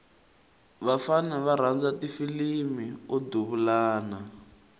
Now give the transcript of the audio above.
vafana va rhandza ti filimu o duvulana